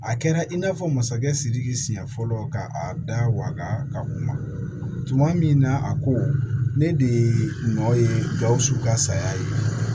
A kɛra i n'a fɔ masakɛ sidiki siɲɛ fɔlɔ ka a da waga ka kuma tuma min na a ko ne de ye nɔ ye gawusu ka saya ye